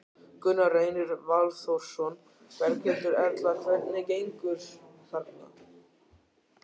Gunnar Reynir Valþórsson: Berghildur Erla, hvernig gengur þarna?